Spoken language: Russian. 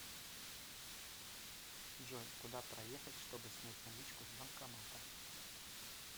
джой куда проехать чтобы снять наличку с банкомата